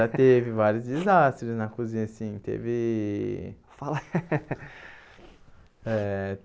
Já teve vários desastres na cozinha, sim. Teve eh